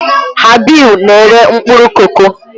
Habibu na-ere mkpụrụ koko.